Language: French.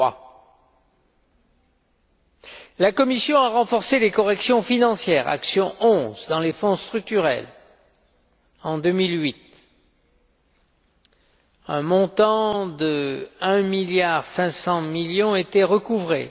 3. La Commission a renforcé les corrections financières action n° 11 dans les fonds structurels en 2008, un montant de 1 milliard 500 millions était recouvré.